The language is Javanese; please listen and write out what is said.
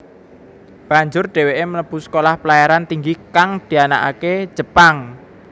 Banjur dheweke mlebu Sekolah Pelayaran Tinggi kang dianakake Jepang